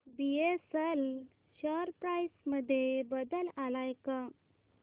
BSL share price मध्ये बदल आलाय का